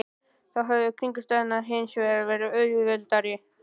Þá höfðu kringumstæðurnar hins vegar verið auðveldari.